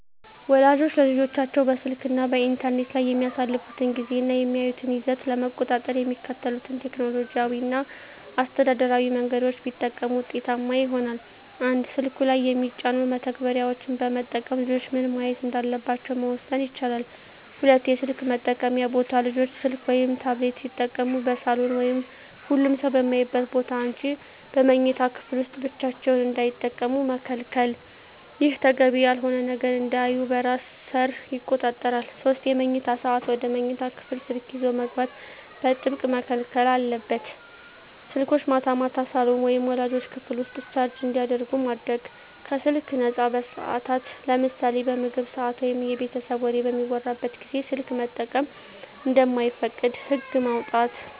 ወላጆች ልጆቻቸው በስልክ እና በኢንተርኔት ላይ የሚያሳልፉትን ጊዜ እና የሚያዩትን ይዘት ለመቆጣጠር የሚከተሉትን ቴክኖሎጂያዊ እና አስተዳደራዊ መንገዶች ቢጠቀሙ ውጤታማ ይሆናል፦ 1)ስልኩ ላይ የሚጫኑ መተግበሪያዎችን በመጠቀም ልጆች ምን ማየት እንዳለባቸው መወሰን ይቻላል። 2)የስልክ መጠቀምያ ቦታ: ልጆች ስልክ ወይም ታብሌት ሲጠቀሙ በሳሎን ወይም ሁሉም ሰው በሚያይበት ቦታ እንጂ በመኝታ ክፍል ውስጥ ብቻቸውን እንዳይጠቀሙ መከልከል። ይህ ተገቢ ያልሆነ ነገር እንዳያዩ በራስ ሰር ይቆጣጠራል። 3)የመኝታ ሰዓት: ወደ መኝታ ክፍል ስልክ ይዞ መግባት በጥብቅ መከልከል አለበት። ስልኮች ማታ ማታ ሳሎን ወይም ወላጆች ክፍል ውስጥ ቻርጅ እንዲደረጉ ማድረግ። 4)ከስልክ ነፃ ሰዓታት: ለምሳሌ በምግብ ሰዓት ወይም የቤተሰብ ወሬ በሚወራበት ጊዜ ስልክ መጠቀም እንደማይፈቀድ ህግ ማውጣት።